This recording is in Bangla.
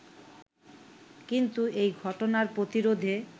কিন্তু এ ঘটনা প্রতিরোধে